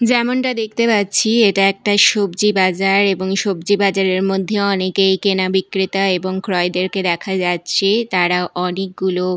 যেমনটা দেখতে পাচ্ছি এটা একটা সবজি বাজার এবং এই সবজি বাজার এর মধ্যে অনেকই কেনা বিক্রেতা এবং ক্রয়দেরকে দেখা যাচ্ছে তারা অনেকগুলো--